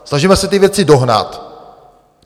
Snažíme se ty věci dohnat.